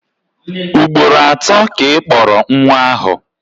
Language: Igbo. Ugboro atọ ka Ị kpọrọ nwa ahụ.